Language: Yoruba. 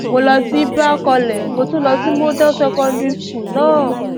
mo lọ sí ibra college mo tún lọ sí model secondary school náà